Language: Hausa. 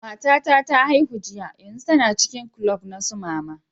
Mata na ta haihu jiya, yanzun tana cikin kulob na su mama.